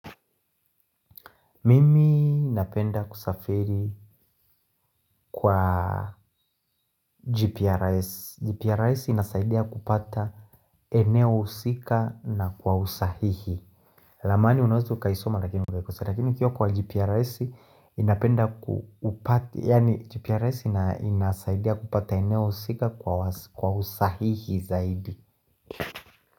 Mimi napenda kusafiri kwa GPRS. GPRS inasaidia kupata eneo husika na kwa usahihi. Ramani unaweza ukaisoma lakini ukiwa kwa GPRS ninapenda kupata yaani GPRS inasaidia kupata eneo husika kwa usahihi zaidi.